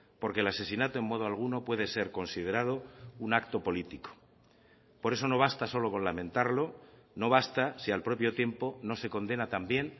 porque el asesinato en modo alguno puede ser considerado un acto político por eso no basta solo con lamentarlo no basta si al propio tiempo no se condena también